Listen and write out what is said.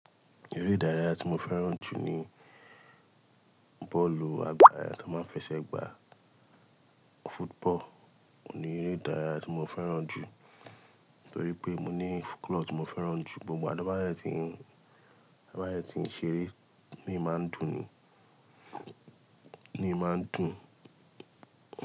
Eré ìdárayá tí mo fẹ́ràn jù ni bọ́ọ̀lù, àgbà tí a máa ń fi ẹsẹ̀ gbà. Football ni eré ìdárayá tí mo fẹ́ràn jù torí pé mo ní club tí mo fẹ́ràn jù. Ìgbogbo ìgbà tó bá dé ń tí ń ṣeré, tó bá dé tí ń ṣeré ń imi máa ń dùn ni, imi máa ń dùn.